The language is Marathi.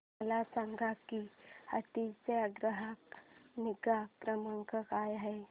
मला सांग की ऑडी चा ग्राहक निगा क्रमांक काय आहे